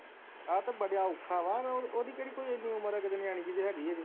ਏ ਤਾ ਬੜਾ ਔਖਾ ਵਾ ਓਹਦੀ ਕਿਹੜੀ ਕੋਈ ਇੰਨੀ ਉਮਰ ਹੈ ਨਿਆਣੀ ਜਿਹੀ ਤਾ ਹੈਗੀ ਹਜੇ